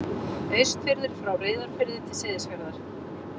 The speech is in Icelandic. Austfirðir frá Reyðarfirði til Seyðisfjarðar.